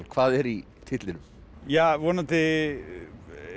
hvað er í titlinum ja vonandi